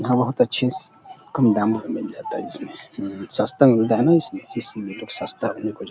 यहाँ बहोत अच्छेस कम दाम में मिल जाता है इसमें ह-म-म सस्ता मिलता है ना इसमें इसलिए लोग सस्ता में खोजा --